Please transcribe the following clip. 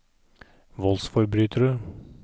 voldsforbrytere